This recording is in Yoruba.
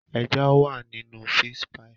Ẹja wà nínú fish pie.